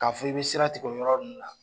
K'a fɔ i bɛ sira tigɛ o yɔrɔ ninnu na.